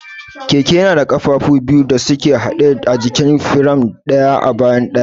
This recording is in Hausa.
Keke yana da ƙafafu biyu da suke haɗe a jikin firam, ɗaya a bayan ɗayan.